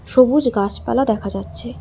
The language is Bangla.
সবুজ গাছপালা দেখা যাচ্ছে।